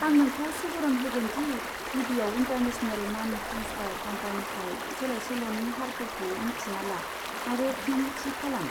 आं नोंखौ सुबुरुन होगोन दि गिबियाव इन्टारनेशनेल मानि ट्रेन्सफार काउन्टारनिफ्राय सोलायसोल'नि हारफोरखौ मिथिना ला आरो फिन थि खालाम।